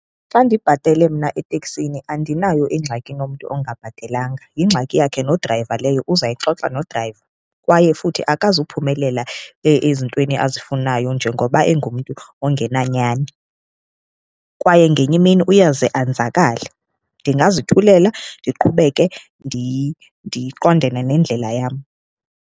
Xa ndibhatele mna eteksini andinayo ingxaki nomntu ongabhatelanga, yingxaki yakhe nodrayiva leyo uzayixoxa nodrayiva. Kwaye futhi akazuphumelela ezintweni azifunayo njengoba engumntu ongenanyani, kwaye ngenye imini uyawuze anzakale. Ndingazithulela ndiqhubeke ndiqondene nendlela yam.